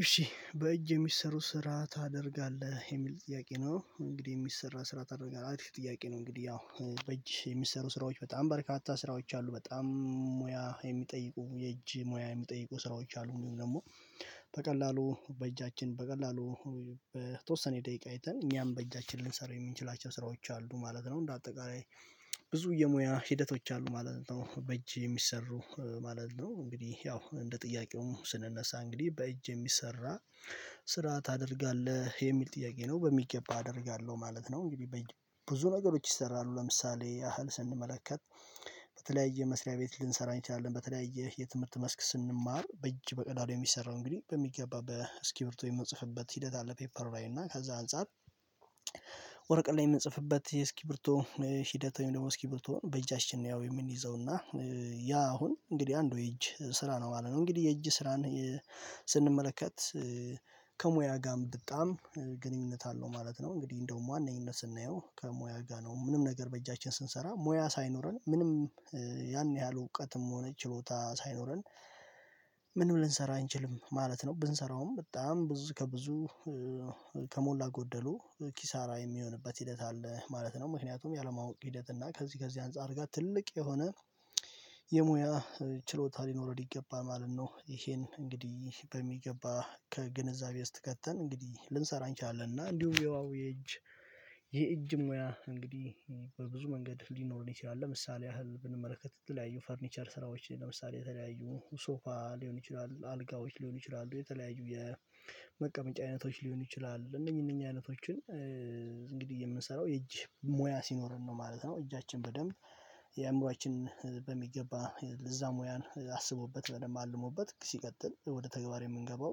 እሺ በእጅ የሚሰሩ ስራ ታደርጋለህ የሚል ጥያቄ ነው እንግዲህ የሚሰራ ስራ ታደርጋለህ አሪፍ ጥያቄ ነው እንግዲህ ያው በእጅ የሚሰሩ ስራዎች በጣም በርካታ ስራዎች አሉ በጣም ሙያ የሚጠይቁ የእጅ ሙያ የሚጠይቁ ስራዎች አሉ ወይም ደግሞ በቀላሉ በእጃችን በቀላሉ በተወሰነ ደቂቃ አይተን እኛም በእጃችን ልንሰራው የምንችላቸው ስራዎች አሉ ማለት ነው እንደ አጠቃላይ ብዙ የሙያ ሂደቶች አሉ ማለት ነው በእጅ የሚሰሩ ማለት ነው እንግዲህ ያው እንደ ጥያቄውም ስንነሳ እንግዲህ በእጅ የሚሰራ ስራ ታደርጋለህ የሚል ጥያቄ ነው። በሚገባ አደርጋለሁ ማለት ነው። እንግዲህ ብዙ ነገሮች ይሰራሉ ለምሳሌ ያህል ስንመለከት በተለያየ መስሪያ ቤት ልንሰራ እንችላለን በተለያየ የትምህርት መስክ ስንማር በእጅ በቀላሉ የሚሰራው እንግዲህ በሚገባ በእስኪብርቶ የምንጽፍበት ሂደት አለ። ፔፐር ላይ እና ከዛ አንፃር ወርቀት ላይ የምንጽፍበት የእስኪብርቶ ሂደት ወይም ደግሞ እስኪብርቶን በእጃችን ያው የምንይዘውና ያ አሁን እንግዲህ አንዱ የእጅ ስራ ነው ማለት ነው። እንግዲህ የእጅ ስራን ስንመለከት ከሙያ ጋም በጣም ግንኙነት አለው ማለት ነው። እንግዲህ እንደውም ዋነኝነት ስናየው ከሙያ ጋር ነው ምንም ነገር በእጃችን ስንሰራ ሙያ ሳይኖረን ምንም ያን ያህል እውቀትም ሆነ ችሎታ ሳይኖረን ምንም ልንሰራ አንችልም ማለት ነው። ብንሰራውም በጣም ብዙ ከብዙ ከሞላ ጎደሉ ኪሳራ የሚሆንበት ሂደት አለ ማለት ነው ምክንያቱም ያለማወቅ ሂደት እና ከዚህ ከዚህ አንፃር ጋር ትልቅ የሆነ የሙያ ችሎታ ሊኖረን ይገባል ማለት ነው። ይሄን እንግዲህ በሚገባ ከግንዛቤ ውስጥ ከትን እንግዲህ ልንሰራ እንችላለን እና እንዲሁም የዋዊ የእጅ የእጅ ሙያ እንግዲህ በብዙ መንገድ ሊኖረን ይችላል። ለምሳሌ ያህል ብንመለከት የተለያዩ ፈርኒቸር ስራዎች ለምሳሌ የተለያዩ ሶፋ ሊሆን ይችላል አልጋዎች ሊሆን ይችላሉ የተለያዩ የመቀመጫ አይነቶች ሊሆን ይችላሉ እነኚህ እነኚህ አይነቶችን እንግዲህ የምንሰራው የእጅ ሞያ ሲኖርን ነው ማለት ነው። እጃችን በደንብ የአእምሮአችን በሚገባ ለዛ ሙያን አስቦበት በደንብ አልሞበት ሲቀጥል ወደ ተግባር የምንገባው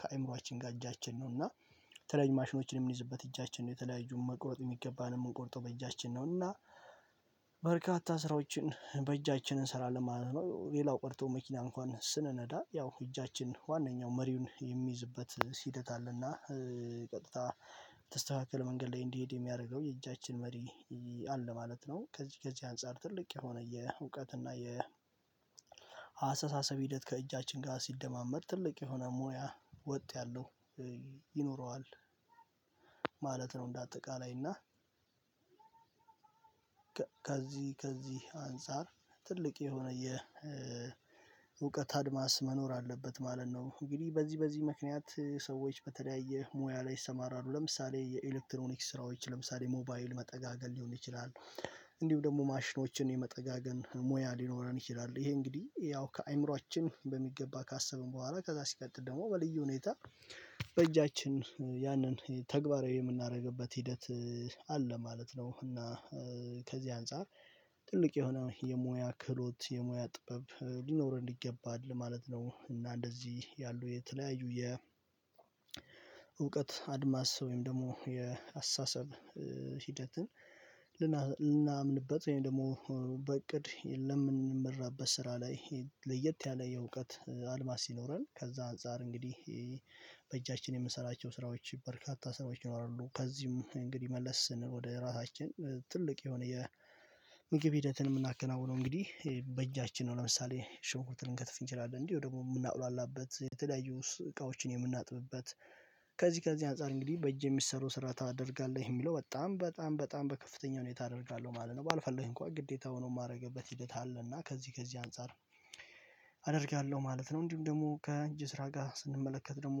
ከአእምሮአችን ጋር እጃችን ነው እና የተለያዩ ማሽኖችን የምንይዝበት እጃችን ነው የተለያዩ መቁረጥ የሚገባንን ምንቆርጠው በእጃችን ነው እና በርካታ ስራዎችን በእጃችን እንሰራለን ማለት ነው። ሌላው ቀርቶ መኪና እንኳን ስንነዳ ያው እጃችን ዋነኛው መሪውን የሚይዝበት ሂደት አለ እና ቀጥታ የተስተካከለ መንገድ ላይ እንዲሄድ የሚያደርገው የእጃችን መሪ አለ ማለት ነው። ከዚህ ከዚህ አንፃር ትልቅ የሆነ የእውቀት እና የአሰተሳሰብ ሂደት ከእጃችን ጋር ሲደማመር ትልቅ የሆነ ሙያ ወጥ ያለው ይኖረዋል ማለት ነው። እንደ አጠቃላይ እና ከዚህ ከዚህ አንፃር ትልቅ የሆነ የ የእውቀት አድማስ መኖር አለበት ማለት ነው። እንግዲህ በዚህ በዚህ ምክንያት ሰዎች በተለያየ ሙያ ላይ ይሰማራሉ ለምሳሌ የኤሌክትሮኒክስ ስራዎች ለምሳሌ ሞባይል መጠጋገን ሊሆን ይችላል። እንዲሁ ደግሞ ማሽኖችን የመጠጋገን ሙያ ሊኖረን ይችላል ይሄ እንግዲህ ያው ከአእምሮአችን በሚገባ ካሰብን በኋላ ከዛ ሲቀጥል ደግሞ በልዩ ሁኔታ በእጃችን ያንን ተግባራዊ የምናደርግበት ሂደት አለ ማለት ነው። እና ከዚህ አንፃር ትልቅ የሆነ የሙያ ክህሎት የሙያ ጥበብ ሊኖረን ይገባል ማለት ነው። እና እንደዚህ ያሉ የተለያዩ የእውቀት አድማስ ወይም ደግሞ የአስተሳሰብ ሂደትን ልናምንበት ወይም ደግሞ በእቅድ ለምንመራበት ስራ ላይ ለየት ያለ የእውቀት አድማስ ሲኖረን ከዛ አንፃር እንግዲህ በእጃችን የምንሰራቸው ስራዎች በርካታ ሰዎች ይኖራሉ ከዚህም እንግዲህ መለስ ስንል ወደ ራሳችን ትልቅ የሆነ የምግብ ሂደትን የምናከናውነው እንግዲህ በእጃችን ነው። ለምሳሌ ሽንኩርትን ልንከትፍ እንችላለን እንጂ ወይ ደግሞ የምናቁላላበት የተለያዩስ እቃዎችን የምናጥብበት ከዚህ ከዚህ አንፃር እንግዲህ በእጅ የሚሰሩ ስራ ታደርጋለህ የሚለው በጣም በጣም በጣም በከፍተኛ ሁኔታ አደርጋለሁ ማለት ነው። ባልፈለግ እንኳን ግዴታ ሆኖ የማደርግበት ሂደት አለ እና ከዚህ ከዚህ አንፃር አደርጋለሁ ማለት ነው። እንዲሁም ደግሞ ከእጅ ስራ ጋር ስንመለከት ደግሞ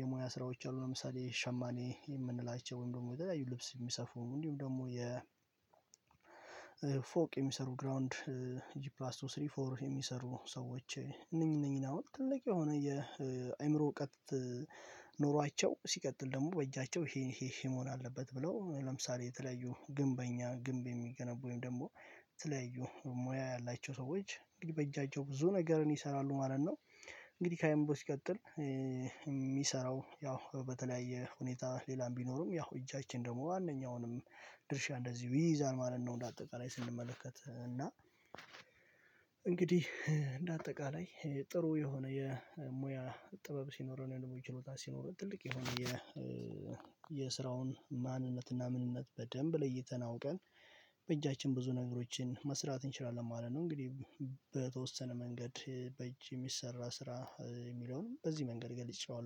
የሙያ ስራዎች አሉ ለምሳሌ ሸማኔ የምንላቸውን ወይም ደግሞ የተለያዩ ልብስ የሚሰፉ እንዲሁም ደግሞ የ ፎቅ የሚሰሩ ግራውንድ ጂፕላስ ቱ ስሪ ፎር የሚሰሩ ሰዎች እነኚህ እነኚህን አሁን ትልቅ የሆነ የአእምሮ እውቀት ኖሯቸው ሲቀጥል ደግሞ በእጃቸው ይሄን ይሄ ይሄ መሆን አለበት ብለው ለምሳሌ የተለያዩ ግንበኛ ግንብ የሚገነቡ ወይም ደግሞ የተለያዩ ሙያ ያላቸው ሰዎች እንግዲህ በእጃቸው ብዙ ነገርን ይሰራሉ ማለት ነው። እንግዲህ ከአእምሮ ሲቀጥል የሚሰራው ያው በተለያየ ሁኔታ ሌላም ቢኖርም ያው እጃችን ደግሞ ዋነኛውንም ድርሻ እንደዚሁ ይይዛል ማለት ነው። እንደ አጠቃላይ ስንመለከት እና እንግዲህ እንደ አጠቃላይ ጥሩ የሆነ የሙያ ጥበብ ሲኖረን ወይም ደግሞ ችሎታ ሲኖረን ትልቅ የሆነ የስራውን ማንነት እና ምንነት በደንብ ለይተን አውቀን በእጃችን ብዙ ነገሮችን መስራት እንችላለን ማለት ነው። እንግዲህ በተወሰነ መንገድ በእጅ የሚሰራ ስራ የሚለውን በዚህ መንገድ ገልጼዋለው